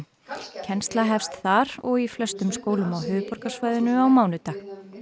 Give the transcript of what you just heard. kennsla hefst þar og í flestum skólum á höfuðborgarsvæðinu á mánudag